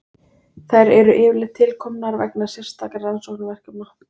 Þær eru yfirleitt til komnar vegna sérstakra rannsóknaverkefna.